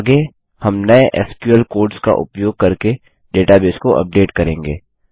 आगे हम नये एसक्यूएल कोड्स का उपयोग करके डेटाबेस को अपडेट करेंगे